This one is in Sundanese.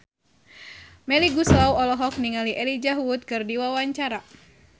Melly Goeslaw olohok ningali Elijah Wood keur diwawancara